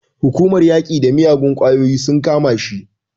Hukumar yaƙi da miyagun ƙwayoyi sun kama shi.